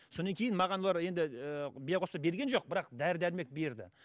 содан кейін маған олар енді ііі биоқоспа берген жоқ бірақ дәрі дәрмек берді